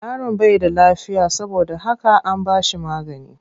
Yaron bai da lafiya saboda haka an bashi magani.